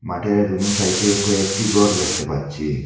মাঠের দুনো সাইটে কয়েকটি ঘর দেখতে পাচ্ছি।